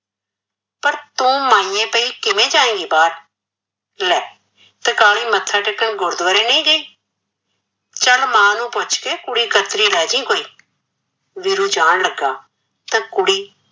ਤੂ ਮਾਇਨੇ ਪਈ ਕਿਵੇ ਜਾਏਗੀ ਬਾਹਰ ਲੈ ਤਕਾਲੀ ਮੱਥਾ ਟੇਕਣ ਗੁਰਦੁਆਰੇ ਨੀ ਗਈ ਚੱਲ ਮਾਂ ਨੂੰ ਪੁੱਛ ਕੇ ਕੁੜੀ ਕਤਰੀ ਲੈਜੀ ਕੋਈ ਵੀਰੂ ਜਾਣ ਲੱਗਾ ਤਾਂ ਕੁੜੀ